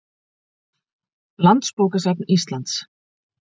Landsbókasafn Íslands.